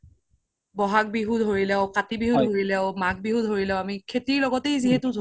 বহাগ বিহু ধৰি লওক কাতি বিহু ধৰি লও মাঘ বিহু ধৰি লও আমি খেতিৰ লগতে যিহেতো জৰিত